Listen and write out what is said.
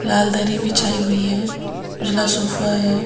लाल दरी बिछाई हुई है उजला सोफा है।